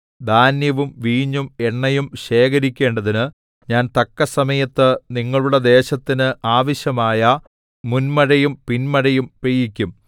ധാന്യവും വീഞ്ഞും എണ്ണയും ശേഖരിക്കേണ്ടതിന് ഞാൻ തക്കസമയത്ത് നിങ്ങളുടെ ദേശത്തിന് ആവശ്യമായ മുൻമഴയും പിൻമഴയും പെയ്യിക്കും